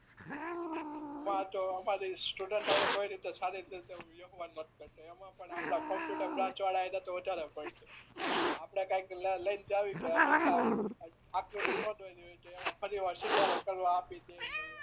અમાર તો અમારે સ્ટુડેન્ટ હારે કોઈ જોડે સારી રીતે વ્યવહાર ન કરતા એમાં પણ કોમ્પ્યુટર બ્રાંચવાળા એ તો વધારે આપણે કઈક લઈ ને આકૃતિ ન દોરી હોય તો ફરી થી સુધારો કરવા આપી દે